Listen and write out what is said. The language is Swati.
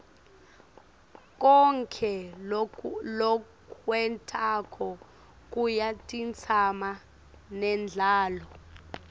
konkhe lokwentako kuyatsintsana nendalo